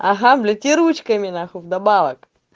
ага блять и ручками нахуй вдобавок